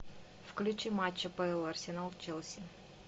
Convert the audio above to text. включи матч апл арсенал челси